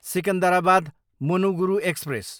Secunderabad, Manuguru express